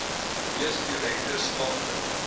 mees direkte skakeling